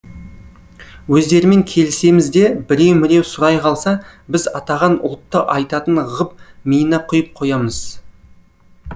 өздерімен келісеміз де біреу міреу сұрай қалса біз атаған ұлтты айтатын ғып миына құйып қоямыз